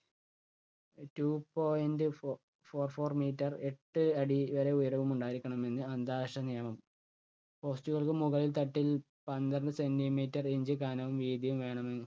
two point fo~four four meter എട്ട് അടി വരെ ഉയരവും ഉണ്ടായിരിക്കണമെന്ന് അന്താരാഷ്ട്ര നിയമം. post കൾക്ക് മുകൾ തട്ടിൽ പന്ത്രണ്ട് centimeter inch കനവും വീതിയുo വേണമെന്ന്